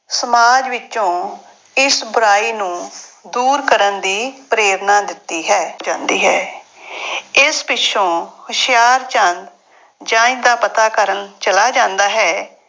ਸਮਾਜ ਵਿੱਚੋਂ ਇਸ ਬੁਰਾਈ ਨੂੰ ਦੂਰ ਕਰਨ ਦੀ ਪ੍ਰੇਰਨਾ ਦਿੱਤੀ ਹੈ, ਜਾਂਦੀ ਹੈ ਇਸ ਪਿੱਛੋਂ ਹੁਸ਼ਿਆਰਚੰਦ ਜੰਞ ਦਾ ਪਤਾ ਕਰਨ ਚਲਾ ਜਾਂਦਾ ਹੈ